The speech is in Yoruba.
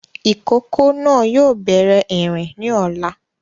Ìkókó náà yóò bẹ̀rẹ̀ ìrìn ni ọ̀la